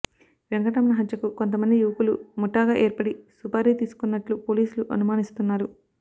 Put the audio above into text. వెంకటరమణ హత్యకు కొంత మంది యువకులు ముఠాగా ఏర్పడి సుపారీ తీసుకున్నట్లు పోలీసులు అనుమానిస్తున్నారు